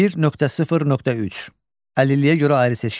1.0.3. Əlilliyə görə ayrı seçkilik.